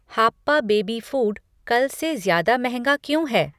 हाप्पा baby food कल से ज़्यादा महंगा क्यों है?